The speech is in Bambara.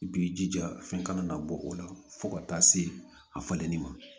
I b'i jija fɛn kana na bɔ o la fo ka taa se a falenni ma